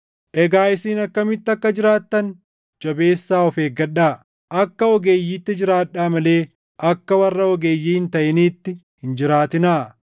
Egaa isin akkamitti akka jiraattan jabeessaa of eeggadhaa! Akka ogeeyyiitti jiraadhaa malee akka warra ogeeyyii hin taʼiniitti hin jiraatinaa;